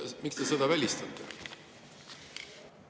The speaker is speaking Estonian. Miks te selle välistate?